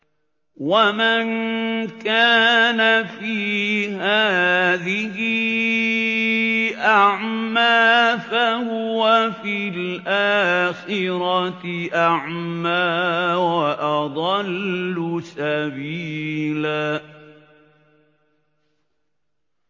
وَمَن كَانَ فِي هَٰذِهِ أَعْمَىٰ فَهُوَ فِي الْآخِرَةِ أَعْمَىٰ وَأَضَلُّ سَبِيلًا